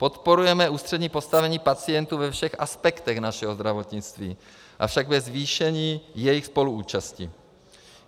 Podporujeme ústřední postavení pacientů ve všech aspektech našeho zdravotnictví, avšak bez zvýšení jejich spoluúčasti.